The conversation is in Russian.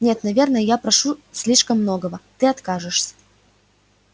нет наверное я прошу слишком многого ты откажешься